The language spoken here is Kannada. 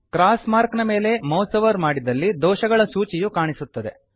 ಕ್ರಾಸ್ ಮಾರ್ಕ್ ನ ಮೇಲೆ ಮೌಸ್ ಒವರ್ ಮಾಡಿದಲ್ಲಿ ದೋಷಗಳ ಸೂಚಿಯು ಕಾಣಿಸುತ್ತದೆ